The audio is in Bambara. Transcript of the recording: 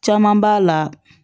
Caman b'a la